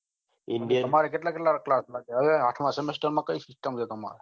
તમાર કેટલા કેટલા class માં છે આઠમાં semester કઈ system છે તમારે